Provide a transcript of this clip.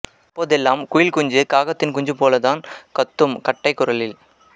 அப்பொதெல்லாம் குயில் குஞ்சு காகத்தின் குஞ்சுபோலத்தன் கத்தும் கட்டைக் குரலில்